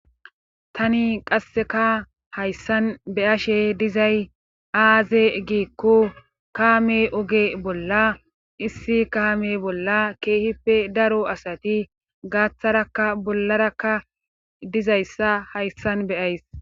Tani qasseka hayssan be7ashe dizay aaze giikko kaame oge bolla issi kaame bolla keehippe daro asati gaatharakka bollarakka dizayssa hayssan be7ays.